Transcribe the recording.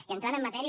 i entrant en matèria